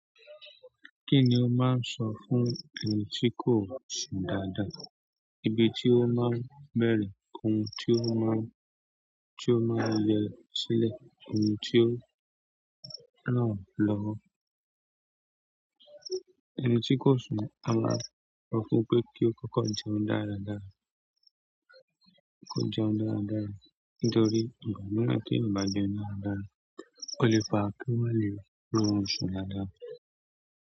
Kí ni o máa ń sọ fún ẹni tí kò sùn dáadáa, ibi tí o máa ń bẹ̀rẹ̀, ohun tí o máa ń, tí o máa ń le sílẹ̀, ohun tí o ràn-án lọ́wọ́? Ẹni tí kò sùn a máa rọ̀ọ́ fún pé kí ó kọ́kọ́ jẹun dáradára, kọ́kọ́ jẹun dáradára nítorí ìgbà mìíràn téèyàn ò bá jẹun dáradára ó lè fa kí ó má lè róorun sùn dáadáa.